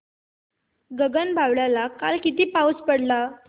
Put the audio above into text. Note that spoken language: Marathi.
गगनबावड्याला काल किती पाऊस पडला